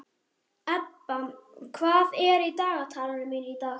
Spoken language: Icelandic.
Ebba, hvað er í dagatalinu mínu í dag?